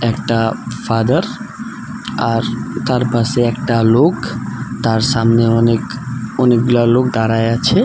একটা ফাদার আর তার পাশে একটা লোক তার সামনে অনেক অনেকগুলা লোক দাঁড়ায় আছে।